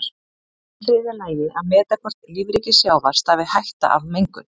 Í þriðja lagi að meta hvort lífríki sjávar stafi hætta af mengun.